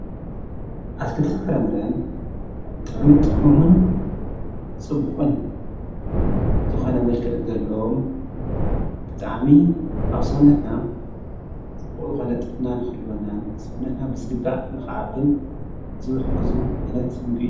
ኣትክልትን ፍረምረን ብጥዕሚት ጥዑምን ጽቡቕን ዘኾነ መልክእ ዘለም ብጥዓሚ ኣብ ሠውነትና ጽቡቕ ልኮነ ጥዕናን ኽልወናን ሠውነትና ብዝግዳእ ንኽዓብን ዝውህጉዙ ዓይነት ምግቢ እዩ።